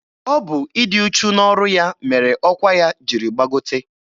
Ọ bụ ịdị uchu n'ọrụ ya mere ọkwa ya jiri gbagote.